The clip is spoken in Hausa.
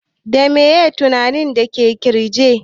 Da meye mutanin da ke ƙirge?